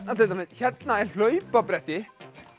hérna er hlaupabretti